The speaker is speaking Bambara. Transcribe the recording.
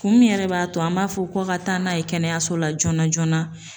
Kun min yɛrɛ b'a to an b'a fɔ ko ka taa n'a ye kɛnɛyaso la joona joona.